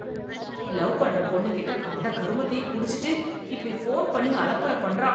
love பண்ற பொண்ணுகிட்ட கண்ட கருமத்தையும் குடிச்சிட்டு இப்படி ஃபோன் பண்ணி அலப்பற பண்றான்